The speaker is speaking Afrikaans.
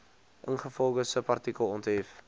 ingevolge subartikel onthef